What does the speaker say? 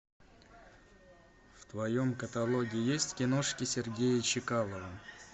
в твоем каталоге есть киношки сергея чекалова